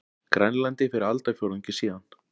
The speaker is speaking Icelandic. Grænlandi fyrir aldarfjórðungi síðan.